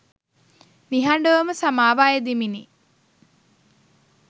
නිහඬවම සමාව අයදිමිනි.